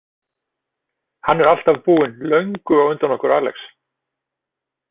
Hann er alltaf búinn löngu á undan okkur Alex.